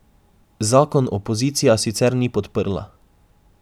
Zakon opozicija sicer ni podprla.